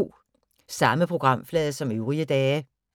Samme programflade som øvrige dage